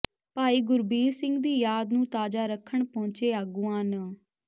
ਭਾਈ ਗੁਰਬੀਰ ਸਿੰਘ ਦੀ ਯਾਦ ਨੂੰ ਤਾਜਾ ਰੱਖਣ ਪਹੁੰਚੇ ਆਗੂਆਂ ਨ